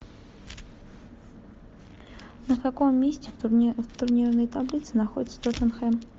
на каком месте в турнирной таблице находится тоттенхэм